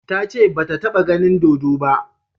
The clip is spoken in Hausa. Ta ce ba ta ta ba ganin dodo ba